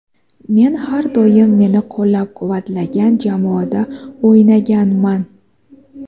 Men har doim meni qo‘llab-quvvatlagan jamoada o‘ynaganman.